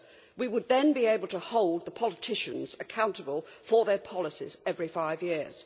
We would then be able to hold the politicians accountable for their policies, every five years.